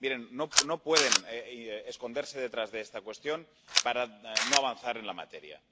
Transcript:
Miren, no pueden esconderse detrás de esta cuestión para no avanzar en la materia.